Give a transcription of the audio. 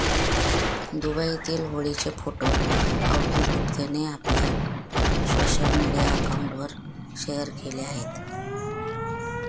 दुबईतील होळीचे फोटो अवधुत गुप्तेने आपल्या सोशल मीडिया अकाउंटवर शेअर केले आहेत